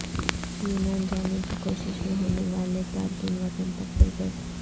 یونان جانے کی کوشش میں ہونے والے تارکین وطن پکڑے گئے